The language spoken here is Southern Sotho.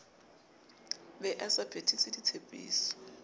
be a sa phethise ditshepiso